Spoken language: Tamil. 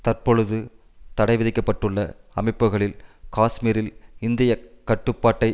தற்பொழுது தடை விதிக்க பட்டுள்ள அமைப்புகளில் காஷ்மீரில் இந்திய கட்டுப்பாட்டை